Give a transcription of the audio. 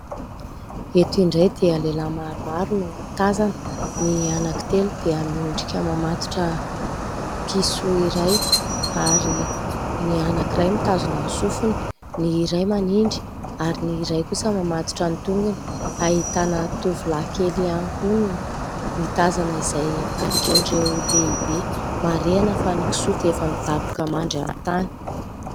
Eto indray dia lehilahy maromaro no tazana : ny anankitelo dia miondrika mamatotra kisoa iray, ary ny anankiray mitazona ny sofiny, ny iray manindry ary ny iray kosa mamatotra ny tongony ; ahitana tovolahy kely ihany koa no mitazana izay ataon'ireo lehibe ; marihana fa ny kisoa efa midaboka mandry amin'ny tany.